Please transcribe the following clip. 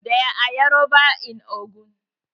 There are Yoruba in Ogun.